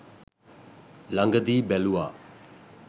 ලඟදී බැලුවා